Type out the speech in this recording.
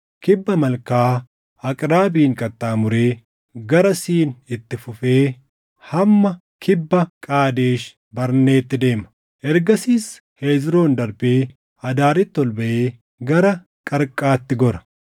kibba Malkaa Aqrabiim qaxxaamuree gara Siin itti fufee hamma kibba Qaadesh Barneetti deema. Ergasiis Hezroon darbee Adaaritti ol baʼee gara Qarqaatti gora.